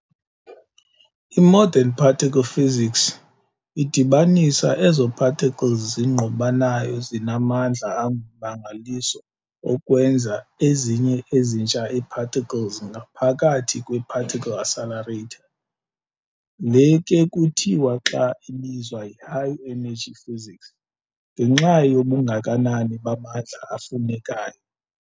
I-Modern particle physics idibanisa ezo-particles zingqubanayo zinamandla angummangaliso okwenza ezinye ezintsha ii-particles ngapkathi kwe-particle accelerator. Le ke kuthiwa xa ibizwa yi-high-energy physics, ngenxa yobungakanani bamandla afunekayo.